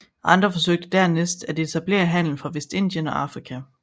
Andre forsøgte dernæst at etablere handel fra Vestindien og Afrika